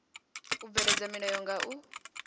u bveledza milayo nga u